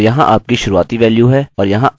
इस ट्यूटोरियल में बस इतना ही